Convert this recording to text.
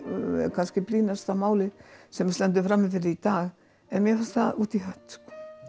kannski brýnasta málið sem við stöndum frammi fyrir í dag en mér fannst það út í hött